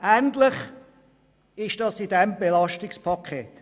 Ähnlich ist es bei diesem Belastungspaket.